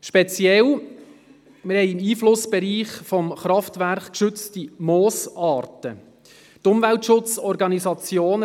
Speziell ist, dass wir im Einflussbereich des Kraftwerks geschützte Moosarten haben.